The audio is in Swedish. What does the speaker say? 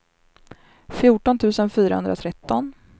fjorton tusen fyrahundratretton